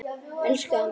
Elsku amma.